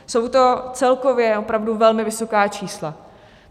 Jsou to celkově opravdu velmi vysoká čísla.